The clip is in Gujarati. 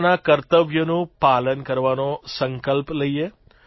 પોતાના કર્તવ્યોનું પાલન કરવાનો સંકલ્પ લઇએ